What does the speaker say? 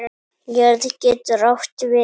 Jörð getur átt við